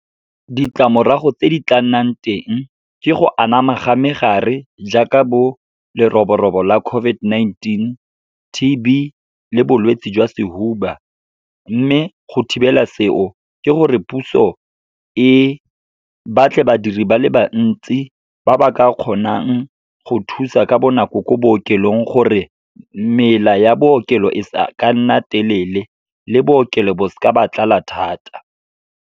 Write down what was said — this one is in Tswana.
Ditlamorago tse di tla nnang teng ke go anama ga megare, jaaka bo leroborobo la COVID-19, T_B le bolwetse jwa sehuba. Mme go thibela seo, ke gore puso e batle badiri ba le bantsi ba ba ka kgonang go thusa ka bonako ko bookelong, gore mela ya bookelo e seka nna telele le bookelo bo seke ba tlala thata.